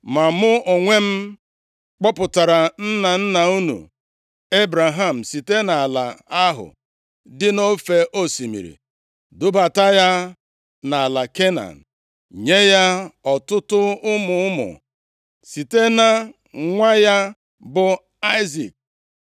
Ma mụ onwe m kpọpụtara nna nna unu Ebraham site nʼala ahụ dị nʼofe osimiri dubata ya nʼala Kenan, nye ya ọtụtụ ụmụ ụmụ, site na nwa ya bụ Aịzik.